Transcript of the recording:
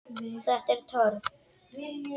Þetta er törn.